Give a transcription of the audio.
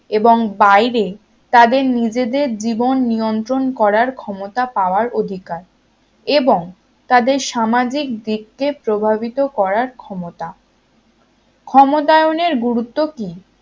এবং বাইরে তাদের নিজেদের জীবন নিয়ন্ত্রণ করার ক্ষমতা পাওয়ার অধিকার। এবং তাদের সামাজিক দিককে প্রভাবিত করার ক্ষমতা ক্ষমতায়নের গুরুত্ব কি?